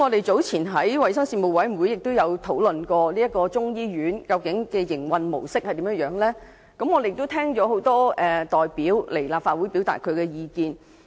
早前在衞生事務委員會會議上，我們曾就中醫院的營運模式進行討論，聽到很多代表到立法會表達意見。